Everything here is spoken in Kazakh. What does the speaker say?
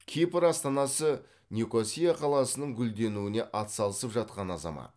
кипр астанасы никосия қаласының гүлденуіне атсалысып жатқан азамат